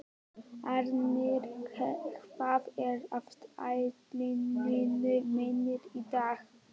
Árný, hvað er á áætluninni minni í dag?